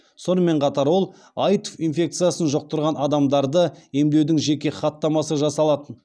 сонымен қатар ол аитв инфекциясын жұқтырған адамдарды емдеудің жеке хаттамасы жасалатын